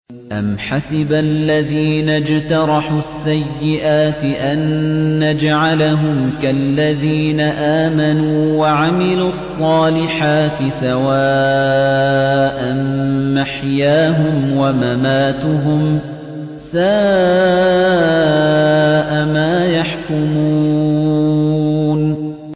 أَمْ حَسِبَ الَّذِينَ اجْتَرَحُوا السَّيِّئَاتِ أَن نَّجْعَلَهُمْ كَالَّذِينَ آمَنُوا وَعَمِلُوا الصَّالِحَاتِ سَوَاءً مَّحْيَاهُمْ وَمَمَاتُهُمْ ۚ سَاءَ مَا يَحْكُمُونَ